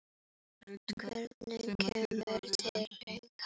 Hvort tveggja kemur til greina.